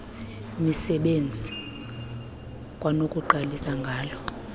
misebenzi kwanokuqalisa ngala